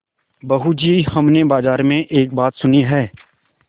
बहू जी हमने बाजार में एक बात सुनी है